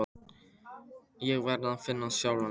Ég verð að finna sjálfan mig.